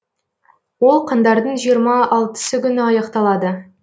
ол қаңтардың жиырма алтысы күні аяқталады